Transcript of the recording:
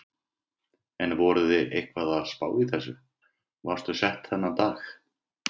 Höskuldur: En voruð þið eitthvað að spá í þessu, varstu sett þennan dag?